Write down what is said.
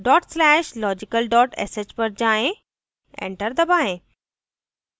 /logical sh पर जाएँ enter दबाएं